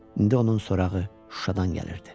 İndi onun sorağı Şuşadan gəlirdi.